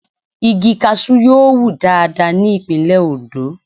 Igi Kaṣú yóò wù dáadáa ní ìpínlè Ondo.